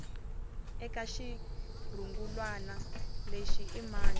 eka xirungulwana lexi i mani